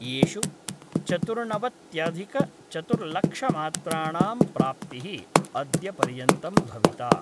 येषु चतुर्णवत्यधिकचतुर्लक्षमात्राणां प्राप्ति: अद्य पर्यन्तं भविता।